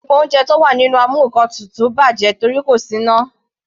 Gbogbo oúnjẹ tí ó wà nínú amúnkantutù bàjẹ́ torí kò sí iná.